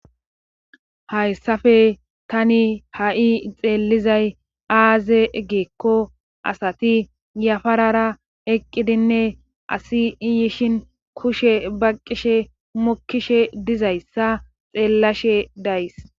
Hayssafe tani ha,i xeellizay aaze geekko asati yafarara eqqidinne asi iyishin kushe baqqishe mokishe dizayssa xeellashe days.